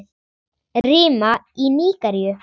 Rima í Nígeríu